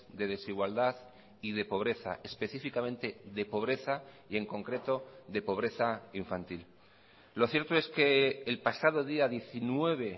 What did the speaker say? de desigualdad y de pobreza específicamente de pobreza y en concreto de pobreza infantil lo cierto es que el pasado día diecinueve